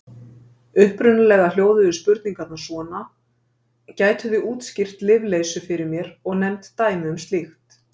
Upprunalega hljóðuðu spurningarnar svona: Gætuð þið útskýrt lyfleysu fyrir mér og nefnt dæmi um slíkt?